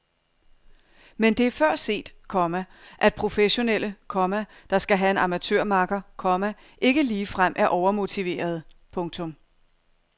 Men det er før set, komma at professionelle, komma der skal have en amatørmakker, komma ikke ligefrem er overmotiverede. punktum